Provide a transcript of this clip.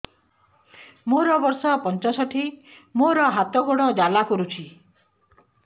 ମୋର ବର୍ଷ ପଞ୍ଚଷଠି ମୋର ହାତ ଗୋଡ଼ ଜାଲା କରୁଛି